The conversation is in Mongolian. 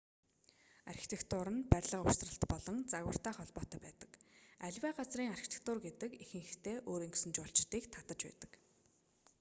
архитектур нь барилга угсралт болон загвартай холбоотой байдаг аливаа газрын архитектур гэдэг ихэнхдээ өөрийн гэсэн жуулчдыг татаж байдаг